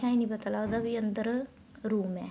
ਉੱਥੇ ਐ ਨਹੀਂ ਪਤਾ ਲੱਗਦਾ ਵੀ ਅੰਦਰ room ਏ